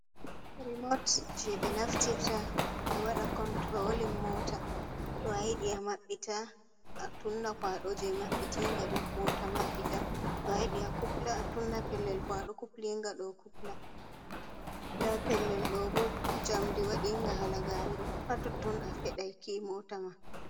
Rimot jei 6e naftirta 6e wađa konturolin Moota, to ayidi ama66ita atunna kwaado jee ma66itiinga đo Moota ma66ita to ayđi akupla atunna pellel kwaado kupliingađo kupla, ndaa pellel đoo boh njamndi wađiinga halagaare đoh ha totton afeđai kii moota ma.